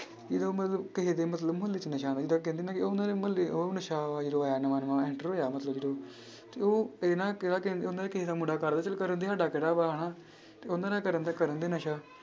ਜਦੋਂ ਮਤਲਬ ਕਿਸੇ ਦੇ ਮਤਲਬ ਮੁਹੱਲੇ 'ਚ ਨਸ਼ਾ ਏਦਾਂ ਕਹਿੰਦੇ ਨਾ ਕਿ ਉਹਨਾਂ ਦੇ ਮੁਹੱਲੇ ਉਹ ਨਸ਼ਾ ਵਾ ਜਦੋਂ ਆਇਆ ਨਵਾਂ ਨਵਾਂ enter ਹੋਇਆ ਮਤਲਬ ਜਦੋਂ ਤੇ ਉਹ ਕਿਸੇ ਦਾ ਮੁੰਡਾ ਕਰਦਾ ਚੱਲ ਕਰਨ ਦੇ ਸਾਡਾ ਕਿਹੜਾ ਵਾ ਹਨਾ ਤੇ ਉਹਨਾਂ ਦਾ ਕਰਦਾ ਕਰਨ ਦੇ ਨਸ਼ਾ।